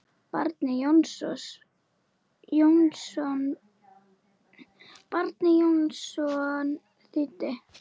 Bjarni Jónsson þýddi.